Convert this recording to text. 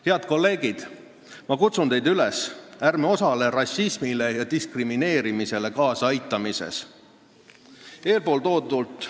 Head kolleegid, ma kutsun teid üles: ärme osaleme rassismile ja diskrimineerimisele kaasaaitamises!